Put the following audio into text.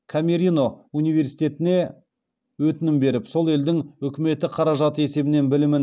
камерино университетіне өтінім беріп сол елдің үкіметі қаражаты есебінен білімін